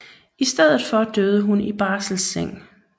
I stedet for døde hun i barselseng